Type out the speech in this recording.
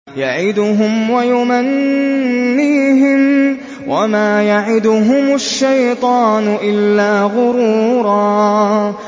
يَعِدُهُمْ وَيُمَنِّيهِمْ ۖ وَمَا يَعِدُهُمُ الشَّيْطَانُ إِلَّا غُرُورًا